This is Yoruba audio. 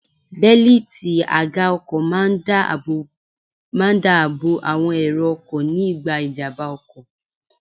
Bélítì àga ọkọ̀ máa ń dá àbọ̀ àwọn èrò ọkọ̀ ní ìgbà ìjàmbá ọkọ̀.